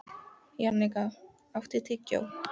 Jannika, áttu tyggjó?